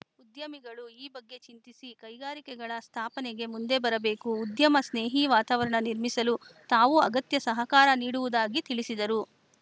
ಉದ್ಯಮಿಗಳು ಈ ಬಗ್ಗೆ ಚಿಂತಿಸಿ ಕೈಗಾರಿಕೆಗಳ ಸ್ಥಾಪನೆಗೆ ಮುಂದೆ ಬರಬೇಕು ಉದ್ಯಮ ಸ್ನೇಹಿ ವಾತಾವರಣ ನಿರ್ಮಿಸಲು ತಾವು ಅಗತ್ಯ ಸಹಕಾರ ನೀಡುವುದಾಗಿ ತಿಳಿಸಿದರು